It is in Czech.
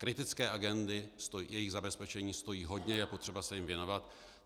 Kritické agendy, jejich zabezpečení stojí hodně, je potřeba se jim věnovat.